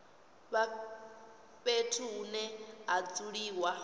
vha fhethu hune ha dzuliwa